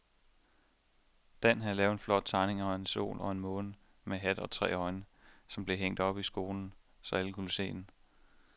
Dan havde lavet en flot tegning af en sol og en måne med hat og tre øjne, som blev hængt op i skolen, så alle kunne se den.